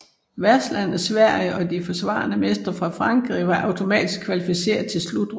Værtslandet Sverige og de forsvarende mestre fra Frankrig var automatisk kvalificeret til slutrunden